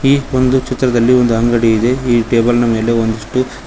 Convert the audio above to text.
ಈ ಒಂದು ಚಿತ್ರದಲ್ಲಿ ಒಂದು ಅಂಗಡಿ ಇದೆ ಈ ಟೇಬಲ್ ನ ಮೇಲೆ ಒಂದಿಷ್ಟು--